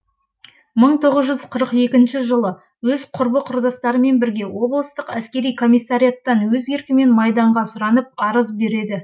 жылы өз құрбы құрдастарымен бірге облыстық әскери комиссариаттан өз еркімен майданға сұранып арыз береді